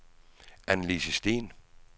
Annelise Steen